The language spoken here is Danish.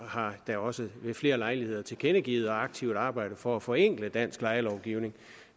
har da også ved flere lejligheder tilkendegivet og aktivt arbejdet for at forenkle dansk lejelovgivning